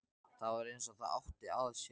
Það var eins og það átti að sér.